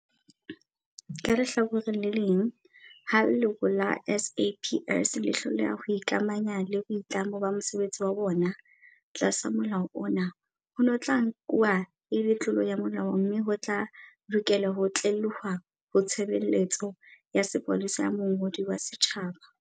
Ka lehlakoreng le leng, ha leloko la SAPS le hloleha ho ikamahanya le boitlamo ba mosebetsi wa bona, tlasa Molao ona, hono ho tla nku-wa e le tlolo ya molao mme ho tla lokelwa ho tlelehuwa ho Tshebe-letso ya Sepolesa ya Mongodi wa Setjhaba.